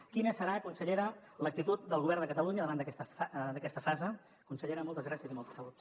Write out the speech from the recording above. quina serà consellera l’actitud del govern de catalunya davant d’aquesta fase consellera moltes gràcies i molta salut